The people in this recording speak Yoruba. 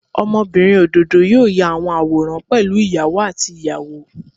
Ọmọbinrin ododo yoo ya awọn aworan pẹlu iyawo ati iyawo.